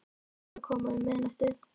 Þú mátt alveg koma um miðnættið.